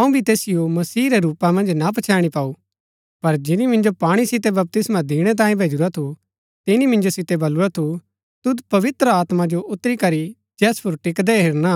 अऊँ भी तैसिओ मसीहा रै रूपा मन्ज ना पछैणी पाऊ पर जिनी मिन्जो पाणी सितै बपतिस्मा दिणै तांयें भैजुरा थू तिनी मिन्जो सितै बलुरा थू तुद आत्मा जो उतरी करी जैस पुर टिकदै हेरना